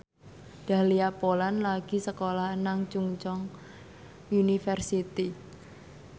Dahlia Poland lagi sekolah nang Chungceong University